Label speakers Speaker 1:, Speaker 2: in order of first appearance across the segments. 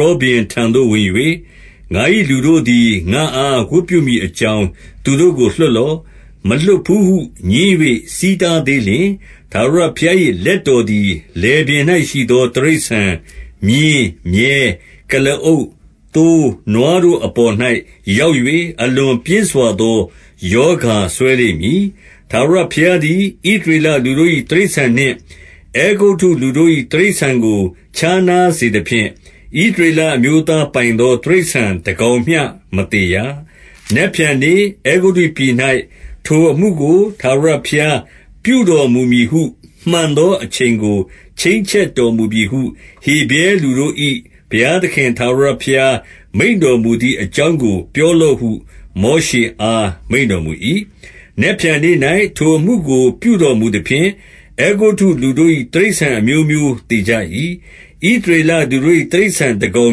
Speaker 1: ရောဘုရင် ထံသို့ဝင်၍ ငါ၏လူတို့သည် ငါ့အား ဝတ်ပြုမည် အကြောင်း၊ သူတို့ကို လွှတ်လော့။ 2 မလွှတ်ဘူးဟုငြင်း၍ ဆီးတားသေးလျှင်၊ 3 ထာဝရဘုရား၏လက်တော်သည် လယ်ပြင်၌ ရှိသော တိရစ္ဆာန်၊ မြင်း၊ မြည်း၊ ကုလားအုပ်၊ သိုး၊ နွားတို့အပေါ်၌ ရောက်၍ အလွန်ပြင်းစွာသော ရောဂါ စွဲလိမ့်မည်။ 4 ထာဝရဘုရားသည်၊ ဣသရေလလူတို့၏ တိရစ္ဆာန်နှင့် အဲဂုတ္တုလူတို့၏ တိရစ္ဆာန်ကို ခြားနား စေသဖြင့်၊ ဣသရေလအမျိုးသားပိုင်သော တိရစ္ဆာန် တကောင်မျှမသေရ။ 5 နက်ဖြန်နေ့၊ အဲဂုတ္တုပြည်၌ ထိုအမှုကို ထာဝရ ဘုရားပြုတော်မူမည်ဟု မှန်သောအချိန်ကို ချိန်းချက် တော်မူပြီဟု ဟေဗြဲလူတို့၏ ဘုရားသခင်ထာဝရဘုရား မိန့်တော်မူသည် အကြောင်းကိုပြောလော့ဟု မောရှေအား မိန့်တော်မူ၏။ 6 နက်ဖြန်နေ့၌ ထိုအမှုကိုပြုတော်မူသဖြင့်၊ အဲဂုတ္တုလူတို့၏ တိရစ္ဆာန်အမျိုးမျိုးသေကြ၏။ ဣသ ရေလလူတို့၏ တိရစ္ဆာန်တကောင်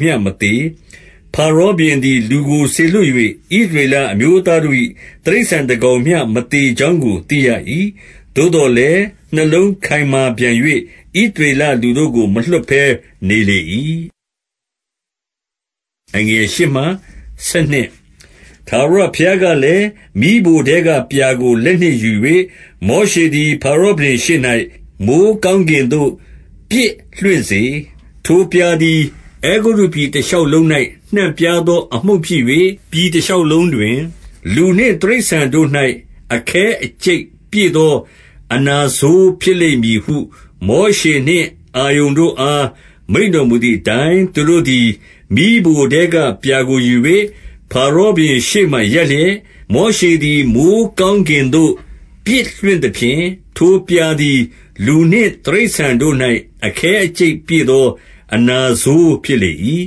Speaker 1: မျှမသေ။ 7 ဖါရောဘုရင်သည် လူကိုစေလွှတ်၍၊ ဣသ ရေလအမျိုးသားတို့၏ တိရစ္ဆာန်တကောင်မျှ မသေ ကြောင်းကို သိရ၏။ သို့သော်လည်း နှလုံးခိုင်မာပြန်၍၊ ဣသရေလလူတို့ကို မလွှတ်ဘဲနေလေ၏။ 8 ထာဝရဘုရားကလည်း၊ မီးဖိုထဲကပြာကို လက် နှင့်ယူ၍ မောရှေသည် ဖါရောဘုရင်ရှေ့၌ မိုဃ်းကောင်း ကင်သို့ပစ်လွှင့်စေ။ 9 ထိုပြာသည် အဲဂုတ္တုပြည်တရှောက်လုံး၌ နှံ့ပြား သော အမှုန့်ဖြစ်၍၊ ပြည်တရှောက်လုံးတွင် လူနှင့် တိရစ္ဆာန်တို့၌ အခဲအကျိတ်ပြည့်သော အနာဆိုးဖြစ်လိမ့် မည်ဟု မောရှေနှင့် အာရုန်တို့အား မိန့်တော်မူသည်အ တိုင်း၊ 10 သူတို့သည် မီးဖိုထဲကပြာကိုယူ၍၊ ဖါရောဘုရင် ရှေ့မှာရပ်လျက်၊ မောရှေသည် မိုဃ်းကောင်းကင်သို့ ပစ် လွှင့်သဖြင့်၊ ထိုပြာသည် လူနှင့်တိရစ္ဆာန်တို့၌ အခဲ အကျိတ်ပြည့်သော အနာဆိုးဖြစ်လေ၏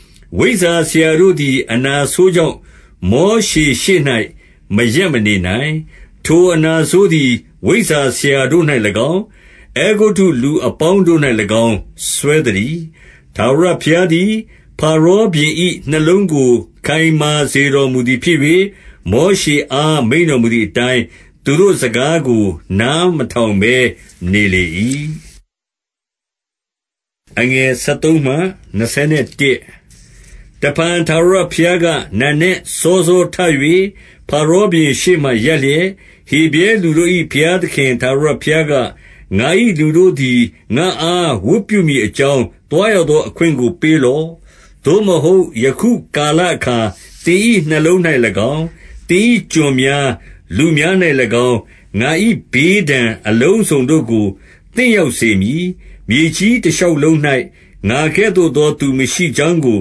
Speaker 1: ။ 11 ဝိဇ္ဇာဆရာတို့သည် အနာဆိုးကြောင့်၊ မောရှေ ရှေ့၌မရပ်မနေနိုင်။ ထိုအနာဆိုးသည် ဝိဇ္ဇာဆရာတို့၌၎င်း၊ အဲဂုတ္တုလူအပေါင်းတို့၌၎င်း စွဲသတည်း။ 12 ထာဝရဘုရားသည် ဖါရောဘုရင်၏နှလုံးကို ခိုင်မာစေတော်မူသည်ဖြစ်၍၊ မောရှေအား မိန့်တော်မူ သည်အတိုင်း၊ သူတို့စကားကို နားမထောင်ဘဲ နေလေ၏။ 13 တဖန်ထာဝရဘုရားက၊ နံနက်စောစောထ၍၊ ဖါရောဘုရင်ရှေ့မှာရပ်လျက်၊ ဟေဗြဲလူတို့၏ ဘုရား သခင် ထာဝရဘုရားက၊ ငါ၏လူတို့သည် ငါ့အား ဝတ်ပြု မည်အကြောင်း၊ သွားရသောအခွင့်ကိုပေးလော့။ 14 သို့မဟုတ် ယခုကာလအခါ သင်၏နှလုံး၌၎င်း၊ သင်၏ကျွန်များ၊ လူများ၌၎င်း၊ ငါ၏ဘေးဒဏ်အလုံးစုံ တို့ကို သင့်ရောက်စေမည်။ မြေကြီးတရှောက်လုံး၌ ငါကဲ့သို့သောသူ မရှိကြောင်းကို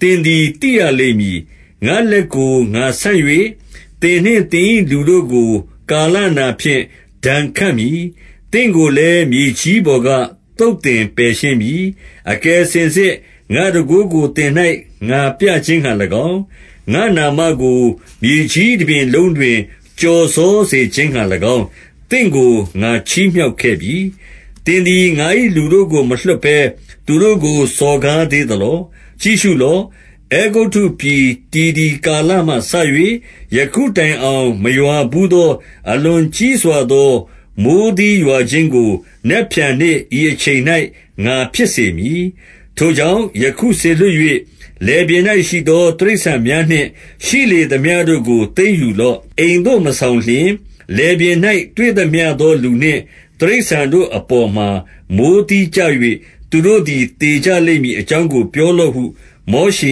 Speaker 1: သင်သည် သိရလိမ့်မည်။ 15 ငါ့လက်ကို ငါဆန့်၍ သင်နှင့်သင်၏လူတို့ကို ကာလနာဖြင့် ဒဏ်ခတ်မည်။သင့်ကိုလည်း မြေကြီးပေါ် က သုတ်သင်ပယ်ရှင်းမည်။ 16 အကယ်စင်စစ် ငါ့တန်ခိုးကို သင်၌ ငါပြခြင်းငှါ၎င်း၊ ငါ့နာမကို မြေကြီးတပြင်လုံးတွင် ကျော်စောစေခြင်း ငှါ၎င်း၊ သင့်ကို ငါချီးမြှောက်ခဲ့ပြီ။ 17 သင်သည် ငါ၏လူတို့ကိုမလွှတ်ဘဲ၊ သူတို့ကို စော်ကားသေးသလော။ 18 ကြည့်ရှုလော့။ အဲဂုတ္တုပြည် တည်သည်ကာလမှ စ၍ ယခုတိုင်အောင် မရွာဘူးသော အလွန်ကြီးစွာသော မိုဃ်းသီးရွာခြင်းကို နက်ဖြန်နေ့ ဤအချိန်၌ ငါဖြစ်စေ မည်။ 19 ထိုကြောင့်ယခုစေလွှတ်၍၊ လယ်ပြင်၌ရှိသော တိရစ္ဆာန်များနှင့် ရှိလေသမျှတို့ကို သိမ်းယူလော့။ အိမ်သို့ မဆောင်လျင်၊ လယ်ပြင်၌ တွေ့သမျှသောလူနှင့် တိရစ္ဆာန်တို့အပေါ်မှာ မိုဃ်းသီးကျ၍၊ သူတို့သည် သေကြလိမ့်မည်အကြောင်းကို ပြောလော့ဟု မောရှေ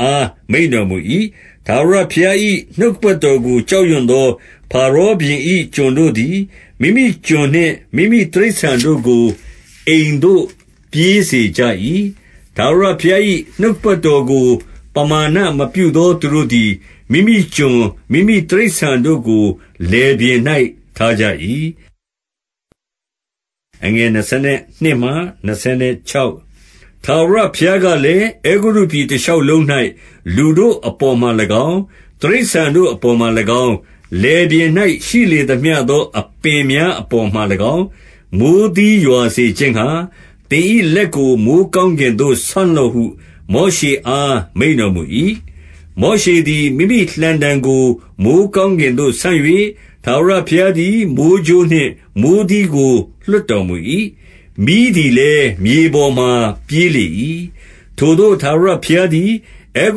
Speaker 1: အား မိန့်တော်မူ၏။ 20 ထာဝရဘုရား၏ နှုတ်ကပတ်တော်ကို ကြောက်ရွံ့သော ဖာရောဘုရင်၏ ကျွန်တို့သည်၊ မိမိကျွန်နှင့် မိမိတိရစ္ဆာန်တို့ကို အိမ်သို့ ပြေးစေကြ၏။ 21 ထာဝရဘုရား၏ နှုတ်ကပတ်တော်ကို ပမာဏမပြုသောသူတို့သည်၊ မိမိကျွန်၊ မိမိတိရစ္ဆာန်တို့ကို လယ်ပြင်၌ ထားကြ၏။ 22 ထာဝရဘုရားကလည်း၊ အဲဂုတ္တုပြည်တရှောက်လုံး၌ လူတို့အပေါ်မှာ၎င်း၊ တိရစ္ဆာန်တို့အပေါ်မှာ၎င်း၊ လယ်ပြင်၌ရှိလေသမျှသော အပင်များအပေါ်မှာ၎င်း၊ မိုဃ်းသီးရွာစေခြင်းငှာ၊ သင်၏လက်ကို မိုဃ်းကောင်းကင်သို့ ဆန့်လော့ဟု မောရှေအား မိန့်တော်မူ၏။ 23 မောရှေသည် မိမိလှံတံကို မိုဃ်းကောင်းကင်သို့ ဆန့်၍၊ ထာဝရဘုရားသည် မိုဃ်းကြိုးနှင့် မိုဃ်းသီးကို လွှတ်တော်မူ၏။ မီးသည်လည်း မြေပေါ်မှာပြေးလေ၏။ ထိုသို့ ထာဝရဘုရားသည်၊ အဲ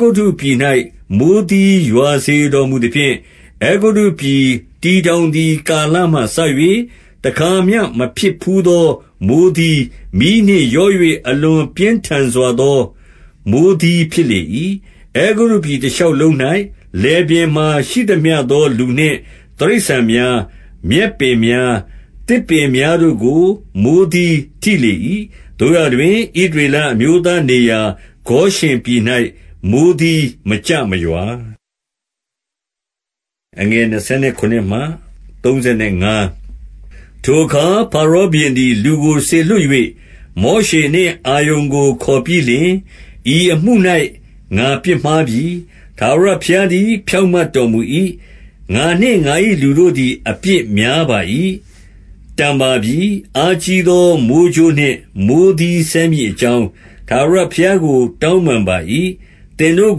Speaker 1: ဂုတ္တုပြည်၌ မိုဃ်းသီးရွာစေ တော်မူသဖြင့်၊ 24 အဲဂုတ္တုပြည် တည်ထောင်သည်ကာလမှစ၍ တခါမျှမဖြစ်ဘူးသော မိုဃ်းသီး၊ မီးနှင့်ရော၍ အလွန် ပြင်းထန်စွာသော မိုဃ်းသီး ဖြစ်လေ၏။ 25 အဲဂုတ္တုပြည် တရှောက်လုံး၌၊ လယ်ပြင်မှာရှိသမျှသော လူနှင့်တိရစ္ဆာန်များ၊ မြက်ပင်များ၊ သစ်ပင်များ တို့ကို မိုဃ်းသီးထိလေ၏။ 26 သို့ရာတွင် ဣသရေလအမျိုးသားနေရာဂေါရှင်ပြည်၌ မိုဃ်းသီးမကျမရွာ။ 27 ထိုအခါ ဖါရောဘုရင်သည် လူကိုစေလွှတ်၍၊ မောရှေနှင့် အာရုန်ကို ခေါ်ပြီးလျှင်၊ ဤအမှု၌ ငါပြစ်မှားပြီ။ ထာဝရဘုရားသည် ဖြောင့်မတ်တော်မူ၏။ ငါနှင့် ငါ၏လူတို့သည် အပြစ်များပါ၏။ 28 တန်ပါပြီ။ အားကြီးသော မိုဃ်းကြိုးနှင့် မိုဃ်းသီးစဲမည်အကြောင်း၊ ထာဝရဘုရားကို တောင်းပန်ပါ။ သင်တို့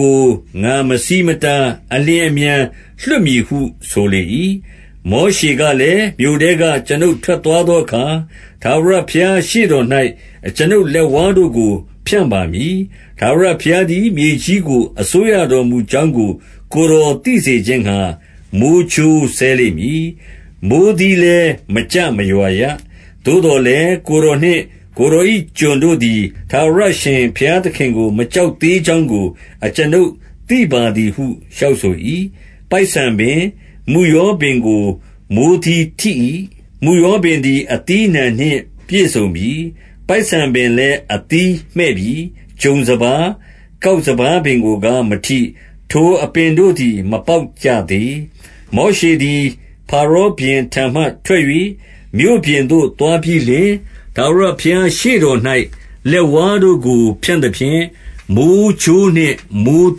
Speaker 1: ကို ငါမဆီးမတား အလျင်အမြန်လွှတ်မည်ဟု ဆိုလေ၏။ 29 မောရှေကလည်း၊ မြို့ထဲက ကျွန်ုပ်ထွက်သွားသောအခါ၊ ထာဝရဘုရားရှေ့တော်၌ ကျွန်ုပ်လက်ဝါးတို့ကို ဖြန့်ပါမည်။ ထာဝရဘုရားသည် မြေကြီးကို အစိုးရတော်မူကြောင်းကို ကိုယ်တော်သိစေခြင်းငှာ မိုဃ်းကြိုးစဲလိမ့် မည်။ မိုဃ်းသီးလည်း မကျမရွာရ။ 30 သို့သော်လည်း ကိုယ်တော်နှင့် ကိုယ်တော်၏ကျွန်တို့သည်၊ ထာဝရအရှင် ဘုရားသခင်ကို မကြောက်သေး ကြောင်းကို အကျွန်ုပ်သိပါသည်ဟု လျှောက်ဆို၏။ 31 ပိုက်ဆန်ပင်၊ မုယောပင်ကို မိုဃ်းသီးထိ၏။ မုယောပင်သည် အသီးအနှံနှင့်ပြည့်စုံပြီ။ ပိုက်ဆံပင်လည်း အသီးမှည့်ပြီ။ 32 ဂျုံစပါး၊ ကောက်စပါးပင်ကိုကား မထိ။ ထိုအပင်တို့သည် မပေါက်ကြသေး။ 33 မောရှေသည် ဖာရောဘုရင်ထံမှထွက်၍ မြို့ပြင်သို့သွားပြီးလျှင်၊ ထာဝရဘုရားရှေ့တော်၌ လက်ဝါးတို့ကို ဖြန့်သဖြင့်၊ မိုဃ်းကြိုးနှင့် မိုဃ်း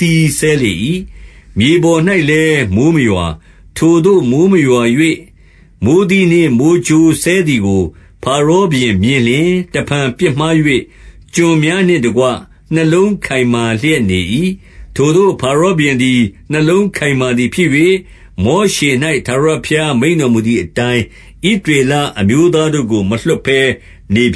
Speaker 1: သီးစဲလေ၏။ မြေပေါ်၌လည်း မိုဃ်းမရွာ။ 34 ထိုသို့ မိုဃ်းမရွာ၍ မိုဃ်းသီးနှင့် မိုဃ်းကြိုးစဲသည်ကို ဖာရောဘုရင်မြင်လျှင်၊ တဖန်ပြစ်မှား၍၊ ကျွန်များနှင့်တကွ နှလုံးခိုင်မာလျက်နေ၏။ 35 ထိုသို့ ဖာရောဘုရင်သည် နှလုံးခိုင်မာသည်ဖြစ်၍၊ မောရှေ၌ ထာဝရဘုရားမိန့်တော်မူသည်အတိုင်း၊ ဣသရေလအမျိုးသားတို့ကို မလွှတ်ဘဲနေပြ